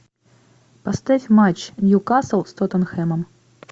поставь матч ньюкасл с тоттенхэмом